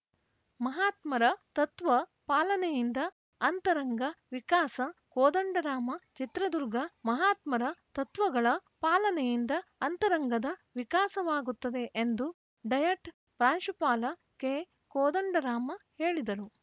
ಮಹಾತ್ಮರ ತತ್ವ ಪಾಲನೆಯಿಂದ ಅಂತರಂಗ ವಿಕಾಸ ಕೋದಂಡರಾಮ ಚಿತ್ರದುರ್ಗ ಮಹಾತ್ಮರ ತತ್ವಗಳ ಪಾಲನೆಯಿಂದ ಅಂತರಂಗದ ವಿಕಾಸವಾಗುತ್ತದೆ ಎಂದು ಡಯಟ್‌ ಪ್ರಾಂಶುಪಾಲ ಕೆಕೋದಂಡರಾಮ ಹೇಳಿದರು